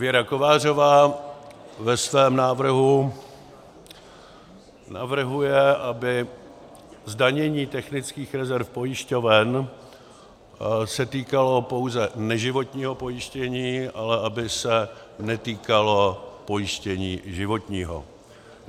Věra Kovářová ve svém návrhu navrhuje, aby zdanění technických rezerv pojišťoven se týkalo pouze neživotního pojištění, ale aby se netýkalo pojištění životního.